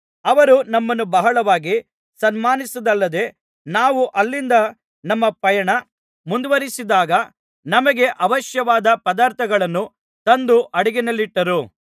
ಅವರು ನಮ್ಮನ್ನು ಬಹಳವಾಗಿ ಸನ್ಮಾನಿಸಿದ್ದಲ್ಲದೆ ನಾವು ಅಲ್ಲಿಂದ ನಮ್ಮ ಪಯಣ ಮುಂದುವರಿಸಿದಾಗ ನಮಗೆ ಅವಶ್ಯವಾದ ಪದಾರ್ಥಗಳನ್ನು ತಂದು ಹಡಗಿನಲ್ಲಿಟ್ಟರು